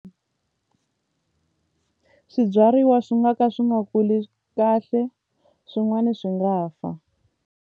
Swibyariwa swi nga ka swi nga kuli kahle swin'wani swi nga fa.